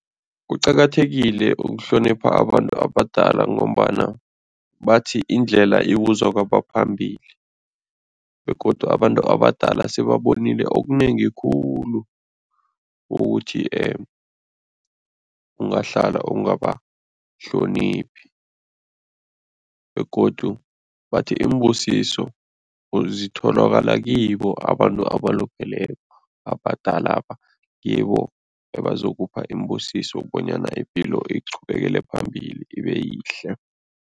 Kuqakathekile ukuhlonipha abantu abadala ngombana bathi indlela ibuzwa kwabaphambili begodu abantu abadala sebabonile okunengi khulu ukuthi ungahlala ungabahloniphi begodu bathi iimbusiso zitholakala kibo abantu abalupheleko abhadalaba, ngibo ebazokupha iimbusiso bonyana ipilo iqhubekele phambili, ibe yihle.